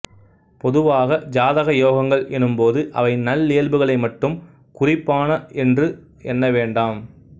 பொதுவாக ஜாதக யோகங்கள் எனும் போது அவை நல்லியல்புகளை மட்டும் குறிப்பான என்று என்ன வேண்டாம்